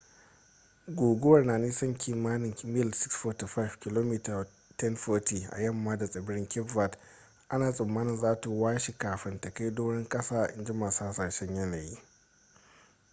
guguwar na nisan kimanin mil 645 kilomita 1040 a yamma da tsibirin cape verde ana tsammanin za ta washe kafin ta kai doron kasa inji masu hasashen yanayi